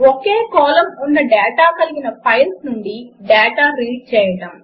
ఒకే column ఉన్న data కలిగిన files నుండి డాటా రీడ్ చేయడం 2